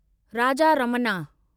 Raja Ramanna